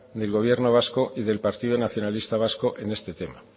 del gobierno vasco y del partido nacionalista vasco en este tema